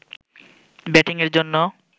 ব্যাটিংয়ের জন্যে